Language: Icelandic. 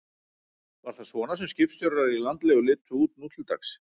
Var það svona sem skipstjórar í landlegu litu út nú til dags?